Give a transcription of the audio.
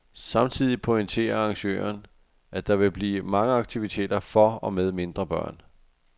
Samtidig pointerer arrangøren, at der vil være mange aktiviteter for og med mindre børn.